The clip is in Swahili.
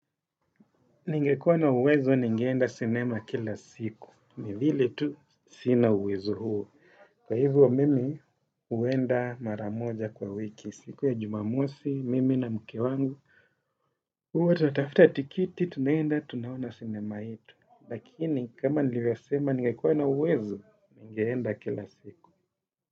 Ningekuwa na uwezo ningeenda sinema kila siku. Ni vile tu sina uwezo huo. Kwa hivyo, mimi huenda mara moja kwa wiki. Siku ya jumamosi, mimi na mke wangu. Huwa tunatafuta tiketi tunaenda tunaona sinema yetu. Lakini, kama nilivyosema, ningekuwa na uwezo ningeenda kila siku.